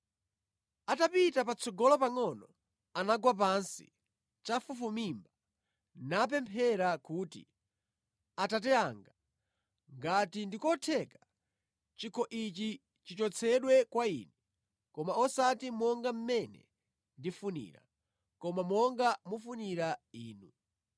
Atapita patsogolo pangʼono, anagwa pansi chafufumimba napemphera kuti, “Atate anga, ngati ndikotheka, chikho ichi chichotsedwe kwa Ine. Koma osati monga mmene ndifunira, koma monga mufunira Inu.”